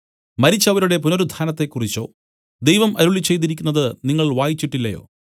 മരിച്ചവരുടെ പുനരുത്ഥാനത്തെക്കുറിച്ചോ ദൈവം അരുളിച്ചെയ്തിരിക്കുന്നത് നിങ്ങൾ വായിച്ചിട്ടില്ലയോ